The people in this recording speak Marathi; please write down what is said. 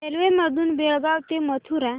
रेल्वे मधून बेळगाव ते मथुरा